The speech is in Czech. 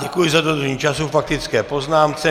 Děkuji za dodržení času k faktické poznámce.